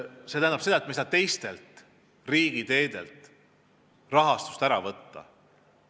Me ei saa teistelt riigiteedelt rahastust ära võtta.